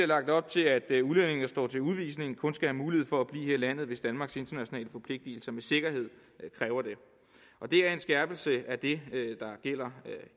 lagt op til at udlændinge der står til udvisning kun skal have mulighed for at blive her i landet hvis danmarks internationale forpligtelser med sikkerhed kræver det og det er en skærpelse af det der gælder